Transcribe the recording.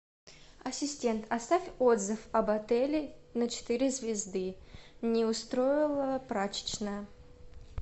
ассистент оставь отзыв об отеле на четыре звезды не устроила прачечная